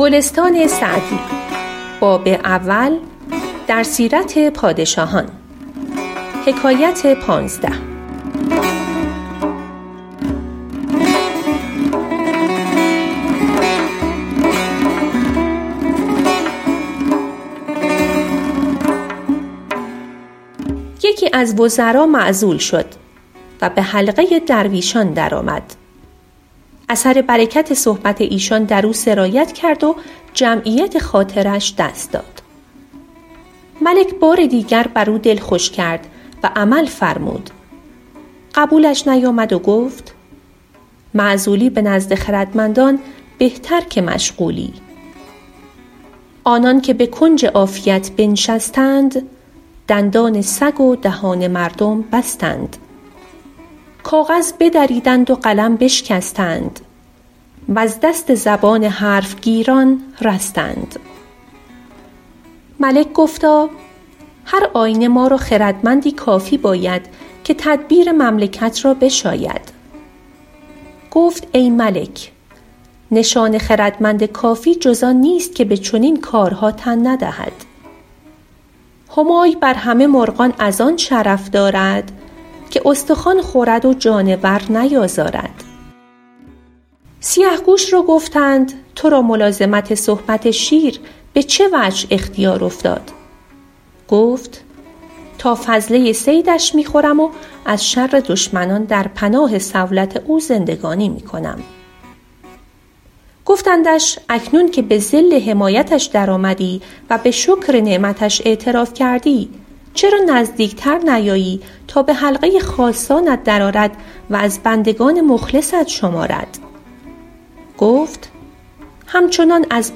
یکی از وزرا معزول شد و به حلقه درویشان درآمد اثر برکت صحبت ایشان در او سرایت کرد و جمعیت خاطرش دست داد ملک بار دیگر بر او دل خوش کرد و عمل فرمود قبولش نیامد و گفت معزولی به نزد خردمندان بهتر که مشغولی آنان که به کنج عافیت بنشستند دندان سگ و دهان مردم بستند کاغذ بدریدند و قلم بشکستند وز دست زبان حرف گیران رستند ملک گفتا هر آینه ما را خردمندی کافی باید که تدبیر مملکت را بشاید گفت ای ملک نشان خردمند کافی جز آن نیست که به چنین کارها تن ندهد همای بر همه مرغان از آن شرف دارد که استخوان خورد و جانور نیازارد سیه گوش را گفتند تو را ملازمت صحبت شیر به چه وجه اختیار افتاد گفت تا فضله صیدش می خورم و ز شر دشمنان در پناه صولت او زندگانی می کنم گفتندش اکنون که به ظل حمایتش در آمدی و به شکر نعمتش اعتراف کردی چرا نزدیک تر نیایی تا به حلقه خاصانت در آرد و از بندگان مخلصت شمارد گفت همچنان از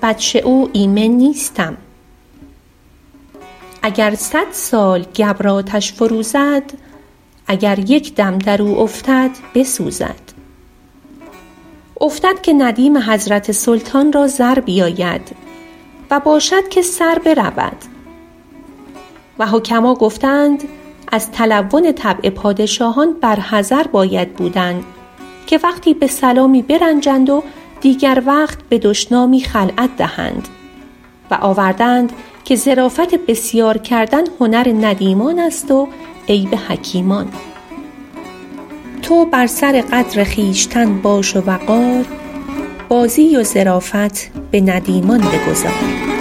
بطش او ایمن نیستم اگر صد سال گبر آتش فروزد اگر یک دم در او افتد بسوزد افتد که ندیم حضرت سلطان را زر بیاید و باشد که سر برود و حکما گفته اند از تلون طبع پادشاهان بر حذر باید بودن که وقتی به سلامی برنجند و دیگر وقت به دشنامی خلعت دهند و آورده اند که ظرافت بسیار کردن هنر ندیمان است و عیب حکیمان تو بر سر قدر خویشتن باش و وقار بازی و ظرافت به ندیمان بگذار